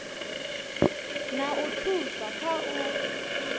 na u thusa kha u